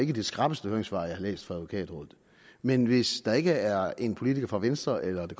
det skrappeste høringssvar jeg har læst fra advokatrådet men hvis der ikke er en politiker fra venstre eller det